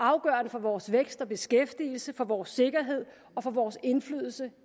afgørende for vores vækst og beskæftigelse for vores sikkerhed og for vores indflydelse